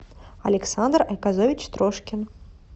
александр айказович трошкин